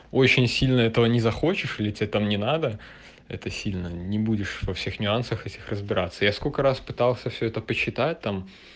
очень сильно этого не захочешь или тебе там не надо это сильно не будешь во всех нюансах этих разбираться я сколько раз пытался все это посчитать там